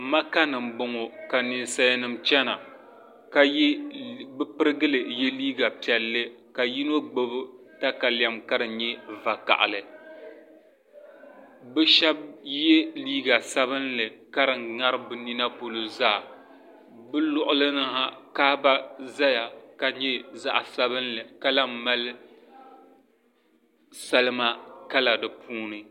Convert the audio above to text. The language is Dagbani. maka ni m-bɔŋɔ ka ninsalinima chana ka bɛ pirigili ye liiga piɛlli ka yino gbubi takalɛm ka di nyɛ vakahili bɛ shɛba ye liiga sabinli ka di ŋari bɛ nina polo zaa bɛ luɣili ni ha kaaba zaya ka nyɛ zaɣ' sabinli ka lahi mali salima kala di puuni.